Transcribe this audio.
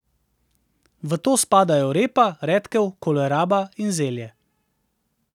V to spadajo repa, redkev, koleraba in zelje.